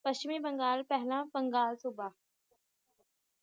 ਪੱਛਮੀ ਬੰਗਾਲ ਪਹਿਲਾਂ ਬੰਗਾਲ ਸੁਭਾ